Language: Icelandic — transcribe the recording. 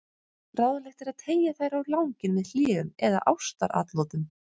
Ráðlegt er að teygja þær á langinn með hléum eða ástaratlotum.